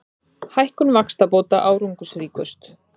Hækkun vaxtabóta árangursríkust